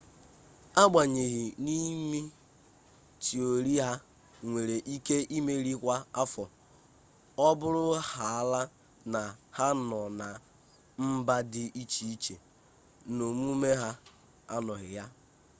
agbanyeghị n’ime tiori ha nwere ike imeli kwa afọ ọ bụrụhaala na ha nọ na mba dị iche iche na omume ha anọghị ya